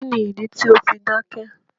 Kíni ìdí tí o fi dákẹ̀?